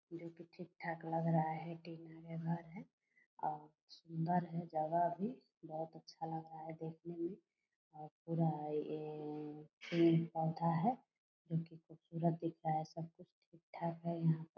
जो की ठीक-ठाक लग रहा है टीना का घर है आ और सुंदर है जगह भी बहोत अच्छा लग रहा है देखने मेंऔर पूरा ये अअ पेड़-पौधा है जो की खूबसूरत दिख रहा है सबकुछ ठीक-ठाक है यहा पर।